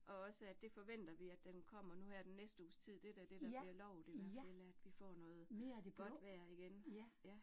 Og også, at det forventer vi, at den kommer nu her den næste uges tid, det da det, der bliver lovet i hvert fald, at vi får noget godt vejr igen, ja